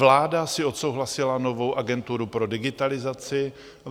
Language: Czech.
Vláda si odsouhlasila novou agenturu pro digitalizaci.